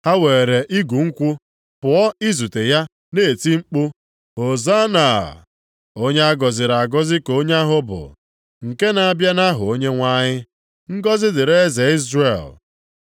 Ha weere igu nkwụ pụọ izute ya na-eti mkpu, “Hozanna!” “Onye a gọziri agọzi ka onye ahụ bụ nke na-abịa nʼaha Onyenwe anyị!” + 12:13 \+xt Abụ 118:25,26\+xt* “Ngọzị dịrị eze Izrel!”